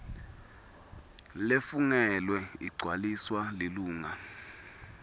lefungelwe igcwaliswa lilunga